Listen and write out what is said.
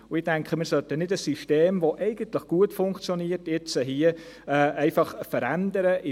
Ich denke, dass wir ein System, das gut funktioniert, hier nicht einfach verändern sollten.